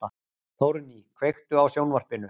Þórný, kveiktu á sjónvarpinu.